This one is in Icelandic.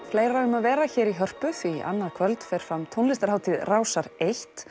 fleira um að vera hér í Hörpu því annað kvöld fer fram tónlistarhátíð Rásar eins